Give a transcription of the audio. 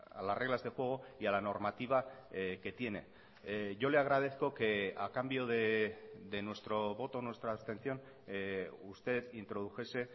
a las reglas de juego y a la normativa que tiene yo le agradezco que a cambio de nuestro voto nuestra abstención usted introdujese